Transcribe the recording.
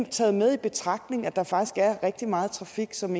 taget med i betragtning at der faktisk er rigtig meget trafik som